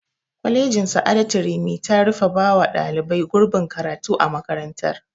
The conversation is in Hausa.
Kwalejin sa'adatu rimi ta rufe bawa ɗalibai gurbin karatu a makarantar